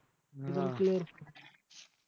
हां